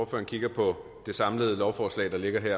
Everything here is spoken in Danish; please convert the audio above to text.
kigger på det samlede lovforslag der ligger her